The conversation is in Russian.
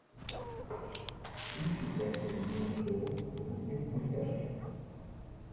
включи красивый киношедевр в духе мультяшки